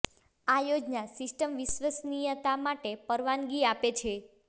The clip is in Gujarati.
આ યોજના સિસ્ટમ વિશ્વસનીયતા માટે પરવાનગી આપે છે